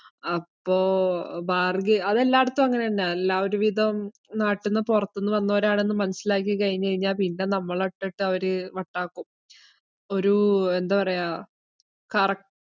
അപ്പോ bargain അതെല്ലാടത്തും അങ്ങനെതന്നെയാ, എല്ലാ ഒരുവിധം നാട്ടിന്നു പൊറത്തിന്ന് വന്നവരാണെന്ന് മനസ്സിലാക്കികഴിഞ്ഞുകഴിഞ്ഞാൽ പിന്നെ നമ്മളെ ഒറ്റക്ക് അവര് വട്ടാക്കും. ഒരൂ, എന്താ പറയ്യാ കറക്~